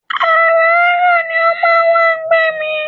Àràárọ̀ ni ó máa wá ń gbé mi